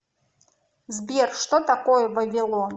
сбер что такое вавилон